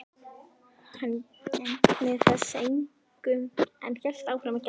Hann gegndi þessu engu en hélt áfram að gelta.